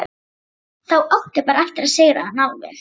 Þá áttu bara eftir að sigra hana alveg.